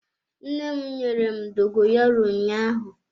Nne m nyere m dogoyaro ụnyaahụ.